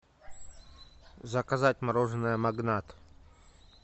заказать мороженое магнат